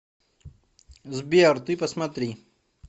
сбер ты посмотри